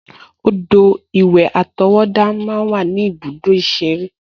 Odò-ìwẹ̀ àtọwọ́dá máa ń wà ní ibùdó ìṣeré